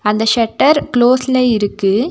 அந்த ஷட்டர் கிலோஸ்ல இருக்கு.